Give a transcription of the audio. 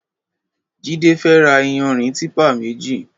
Jide fè rà iyànrín tìpá méji